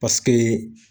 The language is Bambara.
Paseke